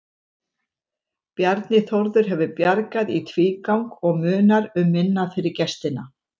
Bjarni Þórður hefur bjargað í tvígang og munar um minna fyrir gestina.